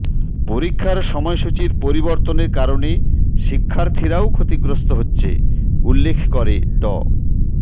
পরীক্ষার সময়সূচির পরিবর্তনের কারণে শিক্ষার্থীরাও ক্ষতিগ্রস্ত হচ্ছে উল্লেখ করে ড